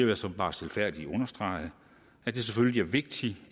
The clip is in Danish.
jeg sådan bare stilfærdigt understrege at det selvfølgelig er vigtigt